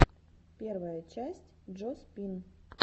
первая часть джо спин